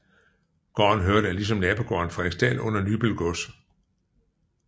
Gården hørte ligesom nabogården Frederiksdal under Nybøl gods